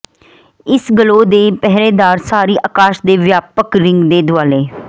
ਇਸ ਗਲੋ ਦੇ ਪਹਿਰੇਦਾਰ ਸਾਰੀ ਅਕਾਸ਼ ਦੇ ਵਿਆਪਕ ਰਿੰਗ ਦੇ ਦੁਆਲੇ